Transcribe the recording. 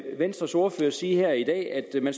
venstres ordfører sige her i dag at man